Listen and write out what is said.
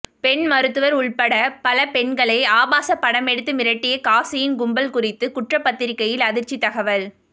பெண் மருத்துவர் உள்பட பல பெண்களை ஆபாச படமெடுத்து மிரட்டிய காசியின் கும்பல் குறித்து குற்றபத்திரிகையில் அதிர்ச்சி தகவல்கள்